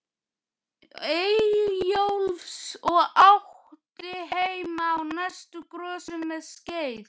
Eyjólfs og átti heima á næstu grösum um skeið.